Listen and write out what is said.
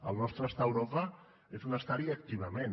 el nostre estar a europa és un estar hi activament